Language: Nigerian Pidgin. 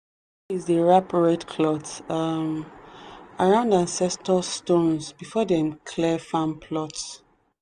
dey wrap red cloth um around ancestor stones before them clear farm plots.